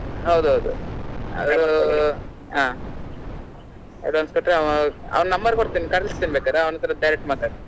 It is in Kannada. ಹೌದೌದು ಅದು ಹಾ advance ಕೊಟ್ರೆ ಅವ ಅವನ್ number ಕೊಡ್ತೇನೆ ಕರಿಸ್ತೀನಿ ಬೇಕಾದ್ರೆ ಅವ್ನ್ ಹತ್ರ direct ಮಾತಾಡು.